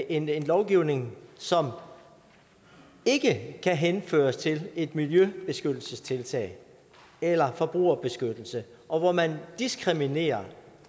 en en lovgivning som ikke kan henføres til et miljøbeskyttelsestiltag eller forbrugerbeskyttelse og hvor man diskriminerer